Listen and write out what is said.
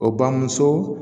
O bamuso